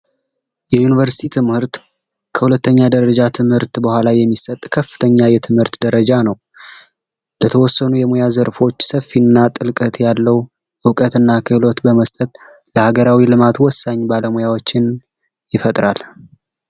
የዩኒቨርስቲ ትምህርት ከሁለተኛ የትምህርት ደረጃ በኋላ የሚሰጥ ከፍተኛ የትምህርት ደረጃ ነው። በተወሰኑ የሙያ ዘርፎች ሰፊ እና ጥልቀት ያለው እውቀት እና ክህሎት በመስጠት ለሃገራዊ ልማት ወሳኝ ባለሙያዎችን ይፈጥራል።